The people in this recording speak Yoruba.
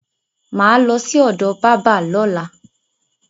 Mà á lọ sí ọ̀do bábá lọ́la.